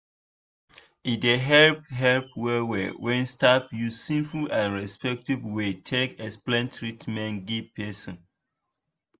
e dey help help well well when staff use simple and respectful way take explain treatment give person.